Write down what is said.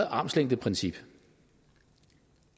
armslængdeprincippet